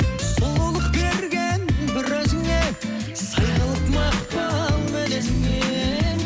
сұлулық берген бір өзіңе сай қылып мақпал мінезіңе